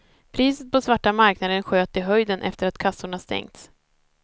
Priset på svarta marknaden sköt i höjden efter att kassorna stängts.